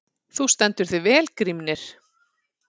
Þú stendur þig vel, Grímnir!